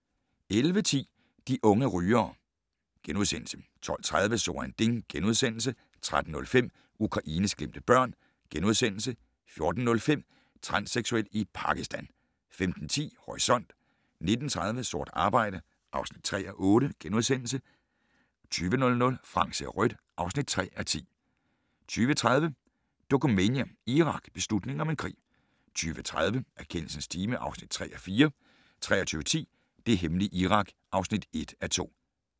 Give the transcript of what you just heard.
11:10: De unge rygere * 12:30: So ein Ding * 13:05: Ukraines glemte børn * 14:05: Transseksuel i Pakistan 15:10: Horisont 19:30: Sort arbejde (3:8)* 20:00: Frank ser rødt (3:10) 20:30: Dokumania: Irak - beslutningen om en krig 22:00: Erkendelsens time (3:4) 23:10: Det hemmelige Irak (1:2)